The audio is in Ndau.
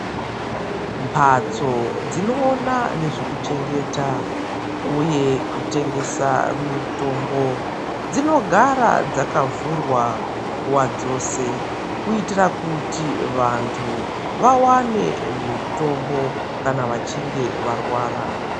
Mphatso dzinoona nezvekuchengeta, uye kutengesa mitombo, dzinogara dzakavhurwa nguwa dzose, kuitira kuti, vanthu vawane mitombo kana vachinge varwara.